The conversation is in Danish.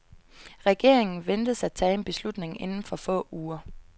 Regeringen ventes at tage en beslutning inden for få uger.